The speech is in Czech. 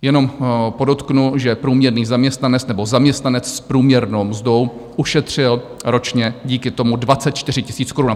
Jenom podotknu, že průměrný zaměstnanec nebo zaměstnanec s průměrnou mzdou ušetřil ročně díky tomu 24 000 korun.